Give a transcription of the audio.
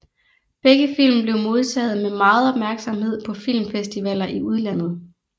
Begge film blev modtaget med meget opmærksomhed på filmfestivaller i udlandet